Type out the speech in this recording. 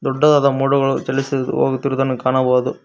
ದೊಡ್ಡದಾದ ಮೋಡಗಳು ಚಲಿಸಿ ಹೋಗುತಿರುದನ್ನು ಕಾಣಬಹುದು.